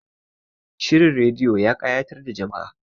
Shirin rediyo ya kayatar da jama'a